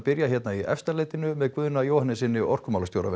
byrjum hér í Efstaleitinu með Guðna Jóhannessyni orkumálastjóra